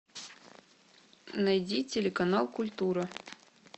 найди телеканал культура